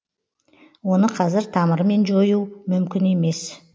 оны қазір тамырымен жою мүмкін емес